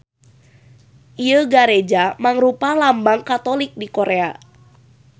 Ieu gareja mangrupa lambang Katolik di Korea.